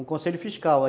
Um conselho fiscal.